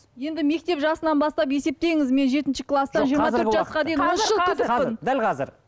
енді мектеп жасынан бастап есептеңіз мен жетінші кластан жиырма төрт жасқа дейін он үш жыл күтіппін дәл қазір